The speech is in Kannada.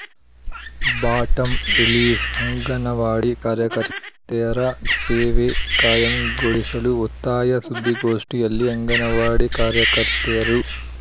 ಬಾಟಂರಿಲೀಸ್‌ಅಂಗನವಾಡಿ ಕಾರ್ಯಕರ್ತೆಯರ ಸೇವೆ ಕಾಯಂಗೊಳಿಸಲು ಒತ್ತಾಯ ಸುದ್ದಿಗೋಷ್ಠಿಯಲ್ಲಿ ಅಂಗನವಾಡಿ ಕಾರ್ಯಕರ್ತೆಯರು